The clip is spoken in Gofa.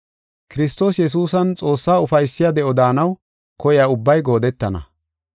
Kiristoos Yesuusan Xoossaa ufaysiya de7o daanaw koyiya ubbay goodettana.